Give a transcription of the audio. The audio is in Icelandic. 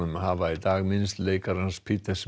hafa í dag minnst leikarans